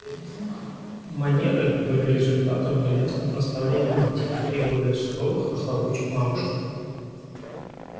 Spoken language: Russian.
манеры были результатом неясных наставлений матери и более суровых нахлобучек мамушки